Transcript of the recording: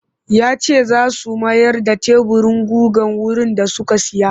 Ya ce za su mayar da teburin gugar wurin da suka saya